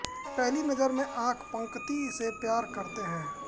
पहली नजर में आंख पंकती से प्यार करते हैं